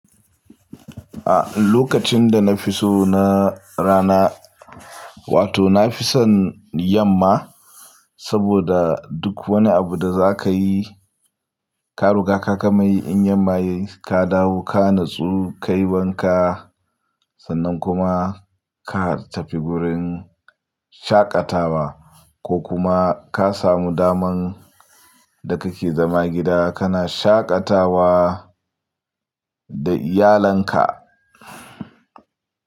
A lokacin da na fi so na rana, wato na fi son yamma saboda duk wani abu da za ka yi, ka ruga ka gamayi in yamma yayi ka dawo ka natsu, ka yi wanka sannan kuma ka tafi gurin shaƙatawa ko kuma ka samu daman da ka ke zama gida kana shaƙatawa da iyalanka.